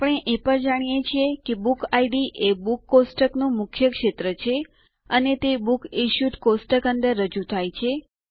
આપણે એ પણ જાણીએ છીએ કે બુક ઇડ એ બુક્સ કોષ્ટક નું મુખ્ય ક્ષેત્ર છે અને તે બુકસિશ્યુડ કોષ્ટક અંદર રજૂ થાય છે